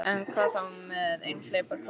En hvað þá með einhleypar konur?